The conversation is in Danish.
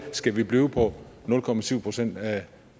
skal vi blive på nul procent procent af